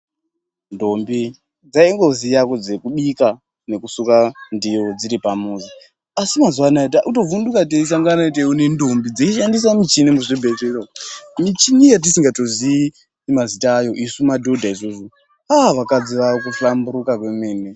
Ndombi dzaingozuva zvekubika nekusuka ndiro dziri pamuzi asi maziuva anaya tava kutovhinduka teisangana teione ndombi dzeyishandisa michini muzvibhedhlera umu michini yatisingatozivi mazita ayo isu madhodha isusu ah vakadzi vavakuhlamburuka kwemene.